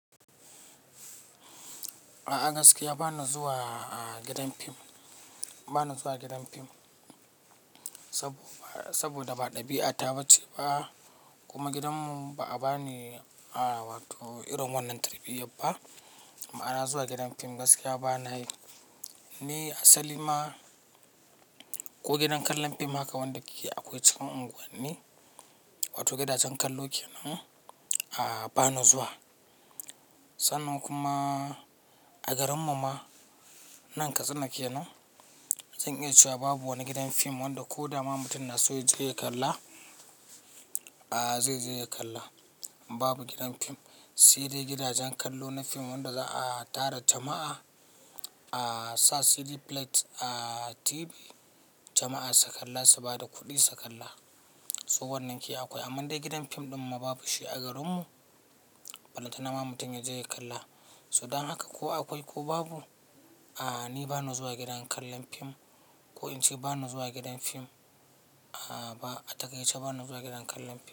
A'a gaskiya ba na zuwa gidan fim, ba na zuwa gidan fim saboda ba ɗabi'ata ba ce ba kuma gidanmu ba a bani wato irin wannan tarbiyya ba. Ma'ana zuwa gidan fim gaskiya ba na yi. Ni asali ma ko gidan kallon fim haka wanda ake akwai cikin unguwani wato gidajen kallo kenan ba na zuwa. Sannan kuma a garinmu ma nan Katsina kenan zan iya cewa babu wani gidan fim wanda ko dama mutum na so ya je ya kalla zai je ya kalla. Babu gidan fim. Sai dai gidajen kallo na fim wanda za'a tara jama'a a sa CD plate a TV jama'a su kalla su bada kuɗi su kalla, so wannan ke akwai. Amman dai gidan fim ɗin ma babu shi a garinmu, bana tuna ma mutum ya je ya kalla. So dan haka ko akwai ko babu, ni ba na zuwa gidan kallon fim ko in ce ba na zuwa gidan fim. A takaice ba na zuwa gidan kallon fim.